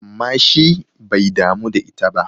amma shi bai damu da ita ba!